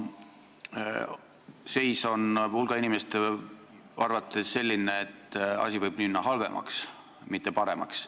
Seis on hulga inimeste arvates selline, et asi võib minna halvemaks, mitte paremaks.